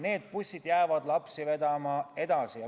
Need bussid jäävad edaspidigi lapsi vedama.